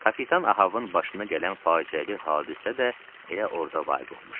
Kapitan Ahavın başına gələn faciəli hadisə də elə orda vaqe olmuşdu.